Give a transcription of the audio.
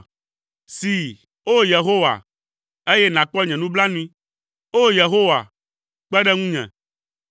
See, O! Yehowa, eye nàkpɔ nye nublanui; O! Yehowa, kpe ɖe ŋunye.”